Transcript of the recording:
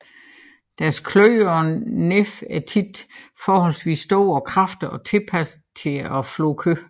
Deres kløer og næb er tit forholdsvis store og kraftige og tilpassede til at flå kød